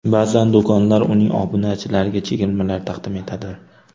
Ba’zan do‘konlar uning obunachilariga chegirmalar taqdim etadi.